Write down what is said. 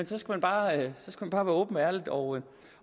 så skal man bare være åben og ærlig og